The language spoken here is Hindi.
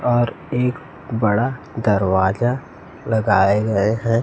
ओर एक बड़ा दरवाजा लगाए गए हैं।